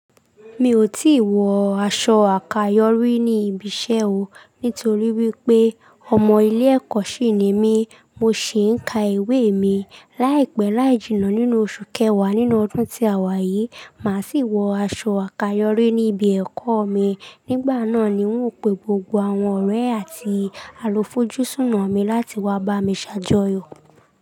Mi ò tí wọ aṣọ àkayòrí ní ibi iṣẹ́ o, nítorí wípé ọmọ ilé ẹ̀kọ́ sì ni mí, mo sì ń ka ìwé mi. Láìpẹ́ láì jìnnà nínú oṣù kẹwàá nínú ọdún tí a wà yìí, màá sì wọ aṣọ àkayòrí ní ibi ẹ̀kọ́ mi. Nígbà náà ni wón ó pe gbogbo àwọn ọ̀rẹ́ àti alùfọjúsùnà mi láti wá bá mi ṣàjọyọ̀.